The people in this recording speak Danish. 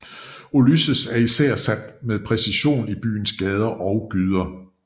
Ulysses er især sat med præcision i byens gader og gyder